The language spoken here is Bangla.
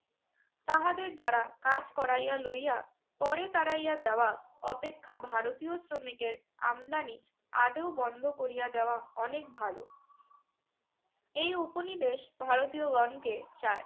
তাহাদের দিয়া কাজ করাইয়া লইয়া পরে তাড়াইয়া দেওয়া অপেক্ষা ভারতীয় শ্রমিকের আমদানি আদৌ বন্ধ করিয়া দেওয়া অনেক ভালো। এই উপনিবেশ ভারতীয়গণকে চায়।